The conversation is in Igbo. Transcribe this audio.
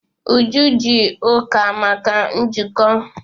Uju ji Uka maka njikọ.